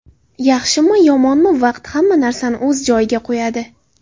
Yaxshimi-yomonmi, vaqt hamma narsani o‘z joyiga qo‘yadi.